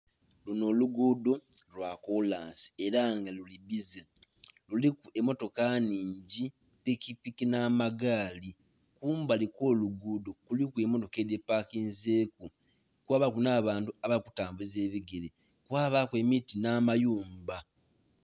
Luno oluguudo lwa kolansi era nga luli bbize, luliku emmotoka nnhingi pikipiki n'amagaali. Kumbali okw'oluguudo kuliku emmotoka edhipakinzeku, kwabaku n'abantu abali kutambuza ebigere, kwabaku emiti n'amayumba.